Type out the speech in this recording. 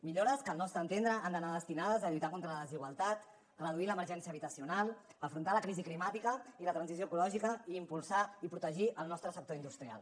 millores que al nostre entendre han d’anar destinades a lluitar contra la desigualtat reduir l’emergència habitacional afrontar la crisi climàtica i la transició ecològica i impulsar i protegir el nostre sector industrial